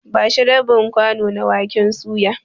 Ba shi rabin kwano na waken suya.